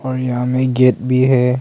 और यहां मे गेट भी है।